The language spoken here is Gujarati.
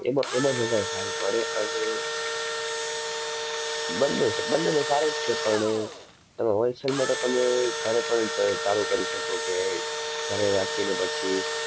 એમાં, એમાં જ વધારે સારું પડે અને બંને સ~બંનેમાં સારું જ છે, પણ તમે wholesale માં તો તમે ઘરે પણ ચ~ચાલુ કરી શકો કે ઘરે રાખીને પછી